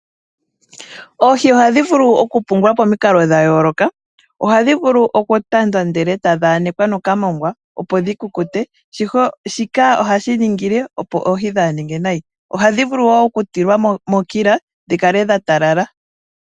Oohi ohadhi vulu oku pungwa pomikalo dha yooloka. Ohadhi vulu oku tandwa ndele etadhi anekwa noka moongwa opo dhi kukute, shika ohashi ningile opo oohi kadhi ninge nayi. Ohadhi vulu wo oku tulwa mo kila opo dhikale dha talala nawa.